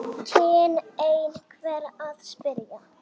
kynni einhver að spyrja.